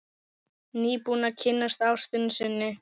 Nýbúinn að kynnast ástinni sinni.